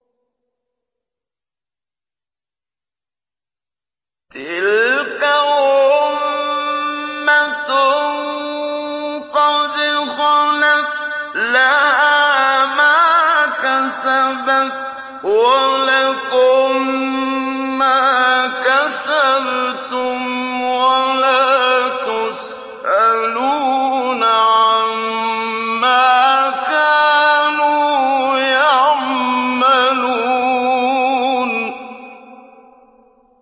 تِلْكَ أُمَّةٌ قَدْ خَلَتْ ۖ لَهَا مَا كَسَبَتْ وَلَكُم مَّا كَسَبْتُمْ ۖ وَلَا تُسْأَلُونَ عَمَّا كَانُوا يَعْمَلُونَ